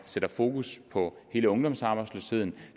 sætter fokus på hele ungdomsarbejdsløsheden